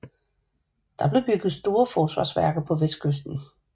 Der blev bygget store forsvarsværker på vestkysten